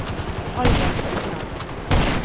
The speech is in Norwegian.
Albert Økland